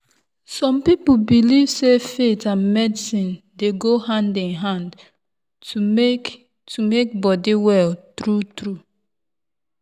some people belief sey faith and medicine dey go hand in hand to make to make body well true-true.